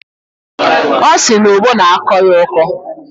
Ọ sị na ogbo na-akọ ya ọkọ.